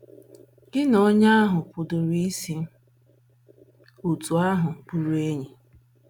Gị na onye ahụ pụdịrị isi otú ahụ bụrụ enyi!!